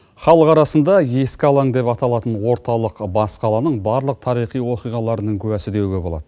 халық арасында ескі алаң деп аталатын орталық бас қаланың барлық тарихи оқиғаларының куәсі деуге болады